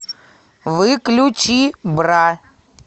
выключи бра